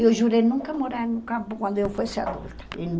Eu jurei nunca morar no campo quando eu fosse adulta.